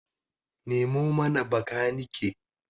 Nemo mana bakanike!